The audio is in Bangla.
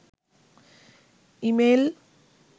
ইমেইল